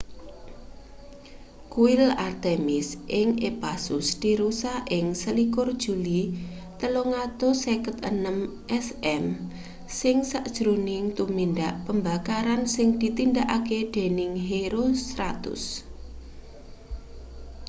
kuil artemis ing ephasus dirusak ing 21 juli 356 sm ing sajroning tumindak pembakaran sing ditindakake dening herostratus